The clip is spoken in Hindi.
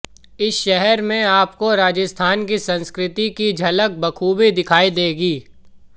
इस शहर में आपको राजस्थान की संस्कृति की झलक बखूबी दिखाई देगी